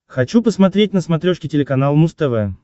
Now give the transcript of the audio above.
хочу посмотреть на смотрешке телеканал муз тв